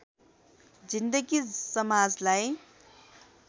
जिन्दगी समाजलाई